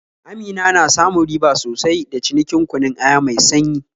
Amina na samun riba sosai da cinikin kunun aya mai sanyi